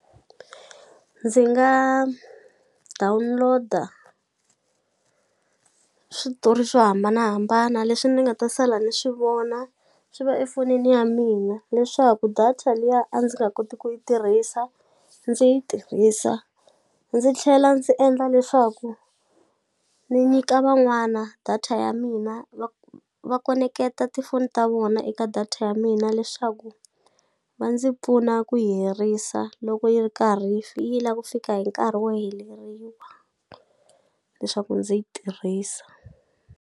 Ndzi nga download-a switori swo hambanahambana leswi ni nga ta sala ni swi vona swi va efonini ya mina leswaku data liya a ndzi nga koti ku yi tirhisa ndzi yi tirhisa ndzi tlhela ndzi endla leswaku ni nyika van'wana data ya mina va khoneketa tifoni ta vona eka data ya mina leswaku va ndzi pfuna ku yi herisa loko yi ri ka yi la ku fika hi nkarhi wo heleriwa leswaku ndzi yi tirhisa.